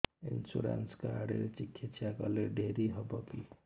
insurance card ରେ ଚିକିତ୍ସା କଲେ ଡେରି ହବକି